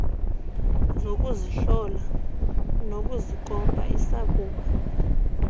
zokuzihlola nokuzikopa isakuba